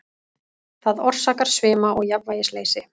Það orsakar svima og jafnvægisleysi.